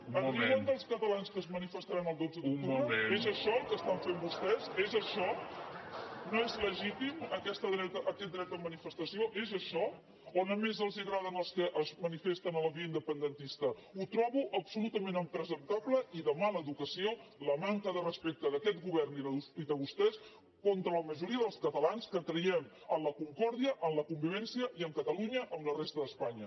es riuen dels catalans que es manifestaran el dotze d’octubre és això el que estan fent vostès és això no és legítim aquest dret a manifestació és això o només els agraden els que es manifesten a la via independentista ho trobo absolutament impresentable i de mala educació la manca de respecte d’aquest govern i de vostès contra la majoria dels catalans que creiem en la concòrdia en la convivència i en catalunya amb la resta d’espanya